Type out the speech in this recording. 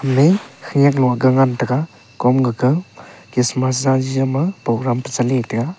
me khenek low ga ngan tega kom gaga kismas jaji jama program chali le tega.